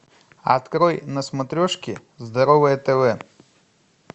открой на смотрешке здоровое тв